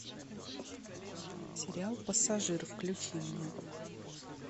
сериал пассажир включи мне